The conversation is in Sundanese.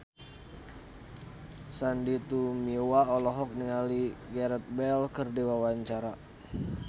Sandy Tumiwa olohok ningali Gareth Bale keur diwawancara